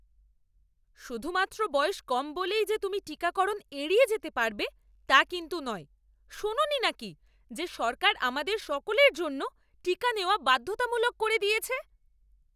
শুধুমাত্র বয়স কম বলেই যে তুমি টিকাকরণ এড়িয়ে যেতে পারবে তা কিন্তু নয়। শোনোনি নাকি যে সরকার আমাদের সকলের জন্য টীকা নেওয়া বাধ্যতামূলক করে দিয়েছে?